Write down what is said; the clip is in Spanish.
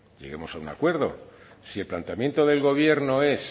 lleguemos a un acuerdo si el planteamiento del gobierno es